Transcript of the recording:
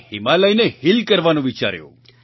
તમે હિમાલયને હીલ કરવાનું વિચાર્યું